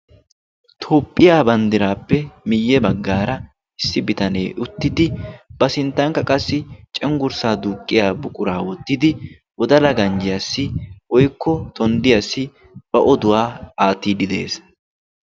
Toophphiyaa banddiraappe miyye baggaara issi bitanee uttiddi ba sinttankka qassi cenggurssaa duuqqiya buquraa wottidi wodala ganjjiyaassi woykko tonddiyaassi ba oduwaa aatiiddi de'ees.